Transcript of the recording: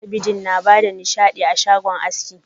Talabijin na bada nishaɗi a shagon aski.